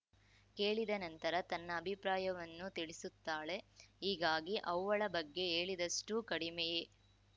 ಕೇಳಿದ ನಂತರ ತನ್ನ ಅಭಿಪ್ರಾಯವನ್ನೂ ತಿಳಿಸುತ್ತಾಳೆ ಹೀಗಾಗಿ ಅವ್ವಳ ಬಗ್ಗೆ ಹೇಳಿದಷ್ಟುಕಡಿಮೆಯೇ